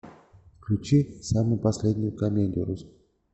включи самую последнюю комедию русскую